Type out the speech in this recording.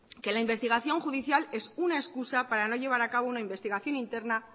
que la investigación judicial es una excusa para no llevar a cabo una investigación interna